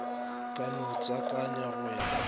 ka no tswakanywa go ya